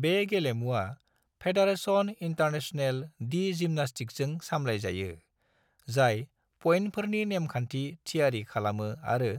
बे गेलेमुवा Fédération Internationale de जिम्नास्टिकजों सामलायजायो, जाय पइन्टफोरनि नेमखान्थि थियारि खालामो आरो